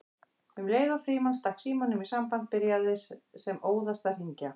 Um leið og Frímann stakk símanum í samband byrjaði sem óðast að hringja